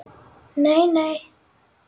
Nei, nei.